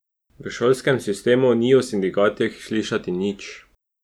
V šolskem sistemu ni o sindikatih slišati nič.